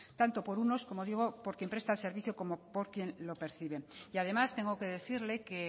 tanto por unos como digo por quien el servicio como por quien lo percibe y además tengo que decirle que